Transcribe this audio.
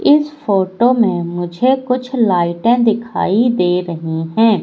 इस फोटो में मुझे कुछ लाइटें दिखाई दे रही हैं।